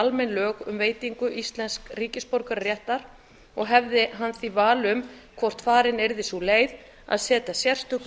almenn lög um veitingu íslensks ríkisborgararéttar og hefði hann því val um hvort farin yrði sú leið að setja sérstök lög